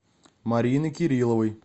марины кириловой